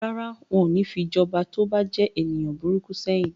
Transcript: Rárá, wọn ò ní fi jọba tí ó bá jẹ́ ènìyàn burúkú sẹ́yìn.